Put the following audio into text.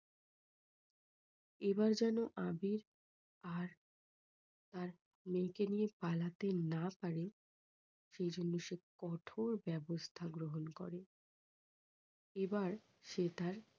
এবার যেন আবির আর তার মেয়েকে নিয়ে পালতে না পারে সেজন্য সে কঠোর ব্যবস্থা গ্রহণ করে। এবার সে তার